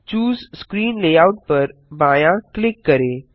चूसे screen layout पर बायाँ click करें